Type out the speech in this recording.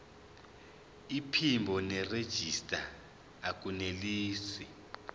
iphimbo nerejista akunelisi